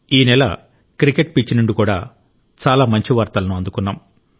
ఈ నెల cricket pitch నుండి కూడా చాలా మంచి వార్తలను అందుకున్నాం